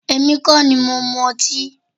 Èmi kọ́ ní mo mú ọtí